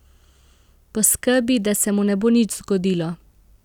Poskrbi, da se mu ne bo nič zgodilo.